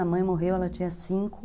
A mãe morreu, ela tinha cinco.